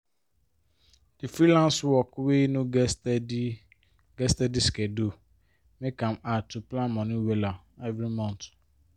di freelance work wey no get steady get steady schedule make am hard to plan money wella every month